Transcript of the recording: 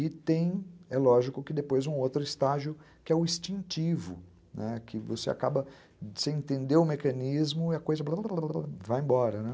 E tem, é lógico, que depois um outro estágio, que é o instintivo, que você acaba sem entender o mecanismo e a coisa vai embora.